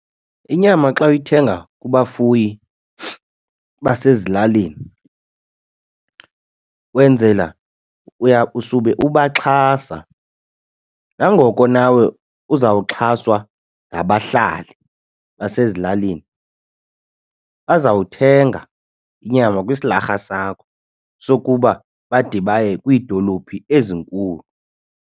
Inyama xa uyithenga kubafuyi basezilalini wenzela usube ubaxhasa nangoko nawe uzawuxhaswa ngabahlali basezilalini bazawuthenga inyama kwisilarha sakho sokuba bade baye kwiidolophu ezinkulu.